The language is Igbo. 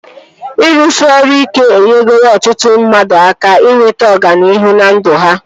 Ịrụsị ọrụ ike enyegoro ọtụtụ mmadụ aka inweta ọganihu na ndụ ha